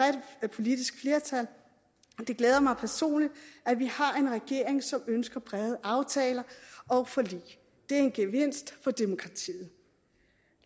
politisk flertal det glæder mig personligt at vi har en regering som ønsker brede aftaler og forlig det er en gevinst for demokratiet